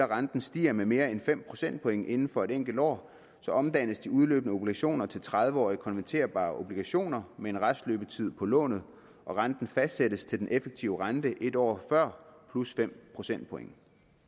renten stiger med mere end fem procentpoint inden for en enkelt år omdannes de udløbne obligationer til tredive årige konverterbare obligationer med en restløbetid på lånet og renten fastsættes til den effektive rente en år før plus fem procentpoint